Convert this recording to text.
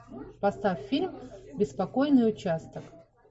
поставь фильм беспокойный участок